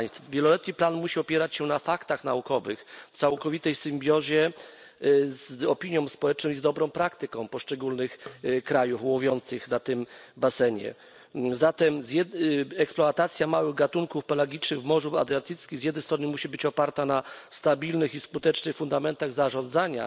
Wieloletni plan musi opierać się na faktach naukowych w całkowitej symbiozie z opinią społeczną i z dobrą praktyką poszczególnych krajów łowiących na tym basenie, zatem eksploatacja małych gatunków pelagicznych w Morzu Adriatyckim z jednej strony musi być oparta na stabilnych i skutecznych fundamentach zarządzania